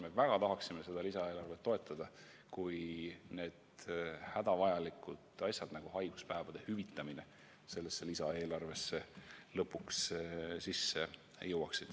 Me väga tahame seda lisaeelarvet toetada, kui vaid see hädavajalik muudatus, nagu on kõigi haiguspäevade hüvitamine, sellesse lisaeelarvesse lõpuks sisse jõuaks.